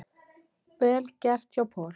Vel gert hjá Paul.